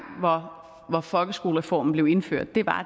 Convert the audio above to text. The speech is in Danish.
hvor folkeskolereformen blev indført var at